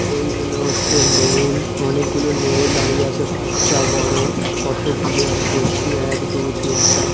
এইগুলো হচ্ছে নেউল অনেকগুলো নেউল দাঁড়িয়ে আছে বাচ্চা বড়ো আর কত গুনে আমি বলছি এক দুই তিন চার।